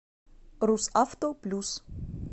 русавто плюс